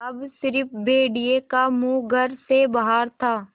अब स़िर्फ भेड़िए का मुँह घर से बाहर था